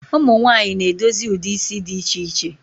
Ụmụnwanyị na edozi ụdị isi dị iche iche